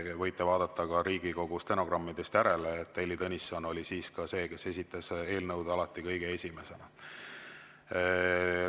Võite vaadata ka Riigikogu stenogrammidest järele, et Heili Tõnisson oli siis see, kes esitas eelnõud alati kõige esimesena.